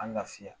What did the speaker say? An lafiya